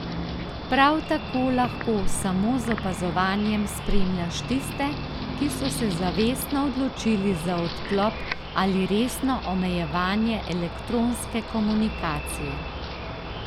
Prav tako lahko samo z opazovanjem spremljaš tiste, ki so se zavestno odločili za odklop ali resno omejevanje elektronske komunikacije.